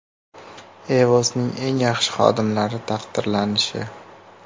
EVOS’ning eng yaxshi xodimlari taqdirlanishi.